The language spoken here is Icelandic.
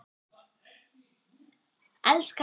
Elskar hann mig?